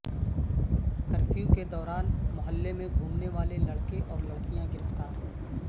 curfew کے دوران محلے میں گھومنے والے لڑکے اور لڑکیاں گرفتار